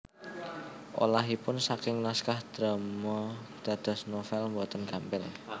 Olahipun saking naskah drama dados novèl boten gampil